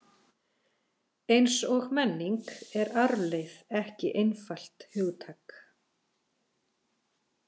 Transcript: Eins og menning er arfleifð ekki einfalt hugtak.